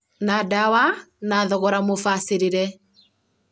na ndawa na thogora mũbacĩrĩre